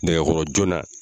Nɛgɛkɔrɔ joona.